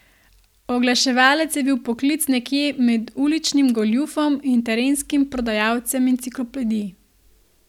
Oglaševalec je bil poklic nekje med uličnim goljufom in terenskim prodajalcem enciklopedij.